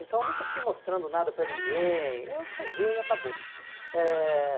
Então, eu nunca fiquei mostrando nada para ninguém, eu fazia e acabou. Eh